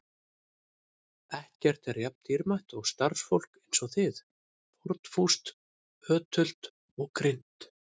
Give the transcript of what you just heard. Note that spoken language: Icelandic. Ekkert er jafn dýrmætt og starfsfólk eins og þið: fórnfúst, ötult og greint.